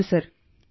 ಹೌದು ಸರ್